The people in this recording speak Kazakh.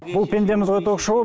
бұл пендеміз ғой ток шоуы